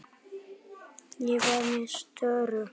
Ég var með störu.